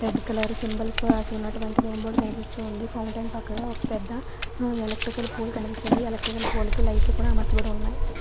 Red colour symbols తో రాసి ఉన్నటువంటి నేమ్ బోర్డు కనిపిస్తుంది. ఫౌంటెన్ పక్కన ఒక పెద్ద ఎలక్ట్రికల్ పూల్ కనిపిస్తుంది ఎలక్ట్రికల్ పూల్ కు లైట్లు కూడా అమర్చబడి ఉన్నాయి.